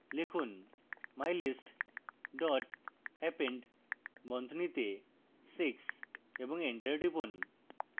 লিখুন mylist dot append বন্ধনীতে six এবং enter টিপুন